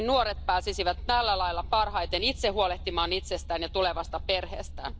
Nuoret pääsisivät tällä lailla parhaiten itse huolehtimaan itsestään ja tulevasta perheestään.